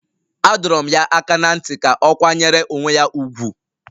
A dọrọ m ya aka ná ntị ka ọ kwanyere onwe ya ùgwù